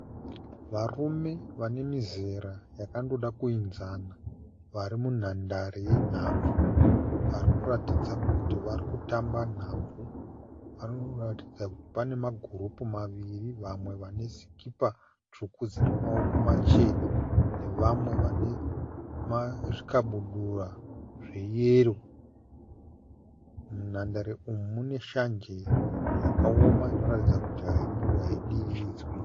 Varume vane mizera yakandoda kuenzana vari munhandare yenhabvu. Varikuratidza kuti varikutamba nhabvu. Vanoratidza kuti pane ma(group) maviri vamwe vane sikipa tsvuku dzine maoko machena nevamwe vane zvikabudura zveyero. Munhandare umu mune shanje yakaoma inoratidza kuti haimbodiridzwi.